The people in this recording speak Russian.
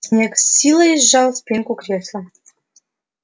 снегг с силой сжал спинку кресла